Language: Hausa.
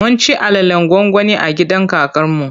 Mun ci alalen gwangwani a gidan kakar mu.